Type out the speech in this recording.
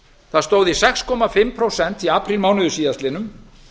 það stór í sex og hálft prósent í aprílmánuði síðastliðnum